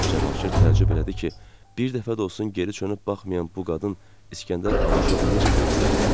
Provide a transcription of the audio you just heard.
Cavanşir təəccüb elədi ki, bir dəfə də olsun geri dönüb baxmayan bu qadın İskəndər Abışovu necə gördü?